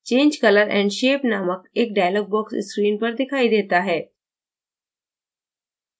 change color & shape named एक dialog box screen पर दिखाई देता है